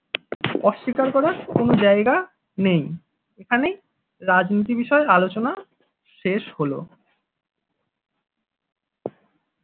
অস্বীকার করার কোন জায়গা নেই এখানেই রাজনীতি বিষয়ে আলোচনা শেষ হলো।